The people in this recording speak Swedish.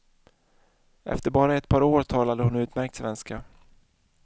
Efter bara ett par år talade hon utmärkt svenska.